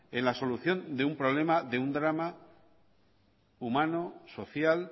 en la solución de un problema de un drama humano social